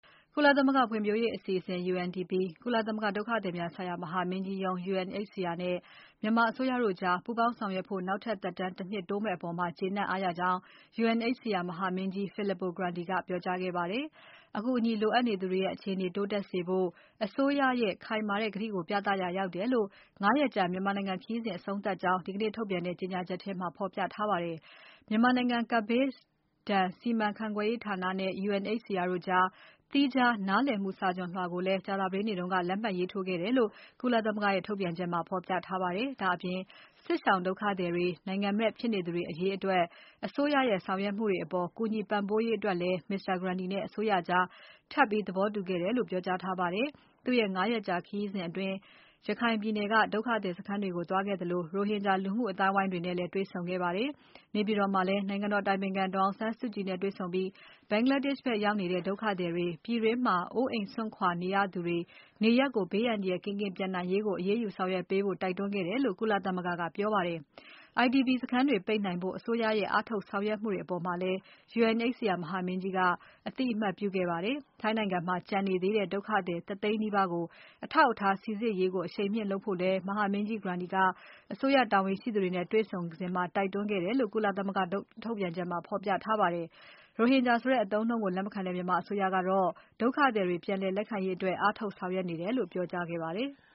ကုလသမဂ္ဂဖွံဖြိုးရေးအစီအစဉ် UNDP၊ ကုလသမဂ္ဂဒုက္ခသည်များ မဟာမင်းကြီးရုံး UNHCR နဲ့ မြန်မာအစိုးရတို့ကြား ပူးပေါင်းဆောင်ရွက်ဖို့ နောက်ထပ်သက်တမ်း ၁ နှစ်တိုးမယ့်အပေါ် ကျေနပ်အားရကြောင်း UNHCR မဟာမင်းကြီး Filippo Grandi ကပြောကြားခဲ့ပါတယ်။ အကူအညီလိုအပ်နေသူတွေရဲ့ အခြေအနေတိုးတက်စေဖို့ အစိုးရရဲ့ခိုင်မာတဲ့ကတိကို ပြသရာရောက်တယ်လို့ မြန်မာနိုင်ငံ ၅ ရက်ကြာခရီးစဉ် အဆုံးသတ်ကြောင်း ဒီကနေ့ထုတ်ပြန်တဲ့ ကြေညာချက်ထဲမှာ ဖော်ပြထားပါတယ်။ မြန်မာနိုင်ငံ ကပ်ဘေးဒဏ် စီမံခန့်ခွဲရေးဌာနနဲ့ UNHCR တို့ကြား သီးခြားနားလည်မှုစာချွန်လွှာကိုလည်း ကြာသပတေးနေ့က လက်မှတ်ရေးထိုးခဲ့တယ်လို့ ကုလသမဂ္ဂရဲ့ ထုတ်ပြန်ချက်မှာ ဖော်ပြထားပါတယ်။ ဒါ့အပြင် စစ်ရှောင်ဒုက္ခသည်တွေ၊ နိုင်ငံမဲ့ဖြစ်နေသူတွေအရေးအတွက် အစိုးရရဲ့ဆောင်ရွက်မှုတွေအပေါ် ကူညီပံ့ပိုးရေးအတွက်လည်း Mr. Grandi နဲ့ အစိုးရကြားထပ်ပြီး သဘောတူခဲ့တယ်လို့ ပြောကြားထားပါတယ်။ သူ့ရဲ့ ၅ ရက်ကြာခရီးအတွင်း ရခိုင်ပြည်နယ်ကို သွားရောက်ခဲ့ပြီး ဒုက္ခသည်စခန်းတွေကို သွားခဲ့သလို ရိုဟင်ဂျာ လူမှုအသိုင်းအဝိုင်းတွေနဲ့ တေ့ွဆုံခဲ့ပါတယ်။ နေပြည်တော်မှာလည်း နိုင်ငံတော်အတိုင်ပင်ခံ ဒေါ်အောင်ဆန်းစုကြည်နဲ့ တွေ့ဆုံပြီး Bangladesh ဘက်ရောက်နေတဲ့ ဒုက္ခသည်တွေ၊ ပြည်တွင်းမှာ အိုးအိမ်စွန့်ခွာနေရသူတွေ နေရပ်ကို ဘေးအန္တရာယ်ကင်းကင်း ပြန်နိုင်ရေးကို အရေးယူဆောင်ရွက်ဖို့ တိုက်တွန်းခဲ့တယ်လို့ ကုလသမဂ္ဂကပြောပါတယ်။ IDP စခန်းတွေ ပိတ်နိုင်ဖို့ အစိုးရရဲ့ အားထုတ်ဆောင်ရွက်မှုတွေအပေါ်လည်း UNHCR မဟာမင်းကြီးက အသိအမှတ်ပြုခဲ့ပါတယ်။ ထိုင်းနိုင်ငံမှာ ကျန်နေသေးတဲ့ ဒုက္ခသည် ၁ သိန်းနီးပါးကို အထောက်အထား စိစစ်ရေးကို အရှိန်မြင့်လုပ်ဖို့လည်း မဟာမင်းကြီး Grandi ကအစိုးရတာဝန်ရှိသူတွေနဲ့ တွေ့ဆုံစဉ်မှာ တိုက်တွန်းခဲ့တယ်လို့ ကုလသမဂ္ဂထုတ်ပြန်ချက်မှာ ဖော်ပြထားပါတယ်။ ရိုဟင်ဂျာဆိုတဲ့ အသုံးအနှုန်းကို လက်မခံတဲ့ မြန်မာအစိုးရကတော့ ဒုက္ခသည်တွေ ပြန်လက်ခံရေးအတွက် အားထုတ်ဆောင်ရွက်နေတယ်လို့ ပြောကြားထားပါတယ်။